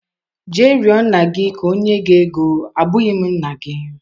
Jee rịo nna gị ka o nye gị ego, abụghị m nna gi.